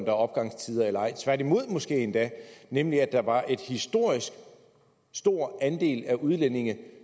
er opgangstider eller ej tværtimod måske endda nemlig at der var en historisk stor andel af udlændinge